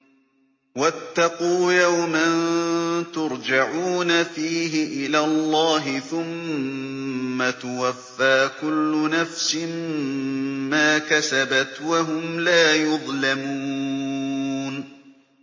وَاتَّقُوا يَوْمًا تُرْجَعُونَ فِيهِ إِلَى اللَّهِ ۖ ثُمَّ تُوَفَّىٰ كُلُّ نَفْسٍ مَّا كَسَبَتْ وَهُمْ لَا يُظْلَمُونَ